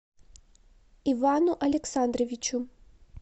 ивану александровичу